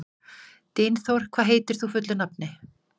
Dynþór, hvað heitir þú fullu nafni?